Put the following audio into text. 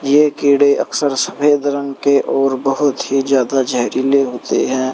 ये कीड़े अक्सर सफेद रंग के और बहोत ही ज्यादा जहरीले होते हैं।